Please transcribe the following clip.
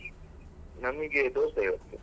ನಮಿಗೆ ದೋಸೆ ಇವತ್ತು .